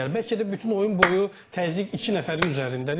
Bəlkə də bütün oyun boyu təzyiq iki nəfərin üzərindədir.